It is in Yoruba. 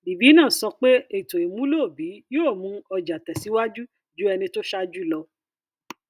livinus sọ pé ètò ìmúlò obi yóò mu ọjà tẹsíwájú ju ẹni tó ṣáájú lọ